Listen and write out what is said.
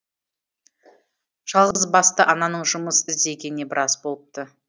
жалғызбасты ананың жұмыс іздегеніне біраз болыпты